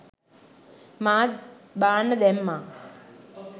මාත් බාන්න දැම්මා